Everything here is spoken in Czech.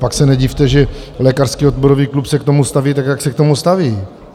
Pak se nedivte, že Lékařský odborový klub se k tomu staví tak, jak se k tomu staví.